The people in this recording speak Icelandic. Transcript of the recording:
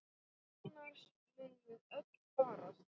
Annars munum við öll farast!